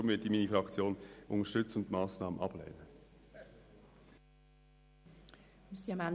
Deshalb werde ich meine Fraktion unterstützen und die Massnahme ablehnen.